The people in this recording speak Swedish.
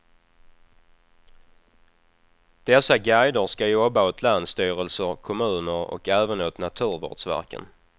Dessa guider ska jobba åt länsstyrelser, kommuner och även åt naturvårdsverken.